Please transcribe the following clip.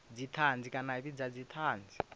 dzithanzi kana a vhidza thanzi